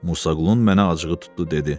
Musa Qulunun mənə acığı tutdu dedi.